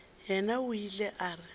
yena o ile a re